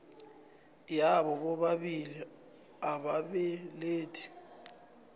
yabo bobabili ababelethi